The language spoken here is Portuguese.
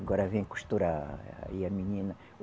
Agora vem costurar aí a menina.